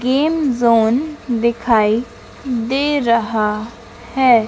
Game zone दिखाई दे रहा है।